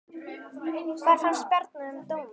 Hvað fannst Bjarna um dóminn?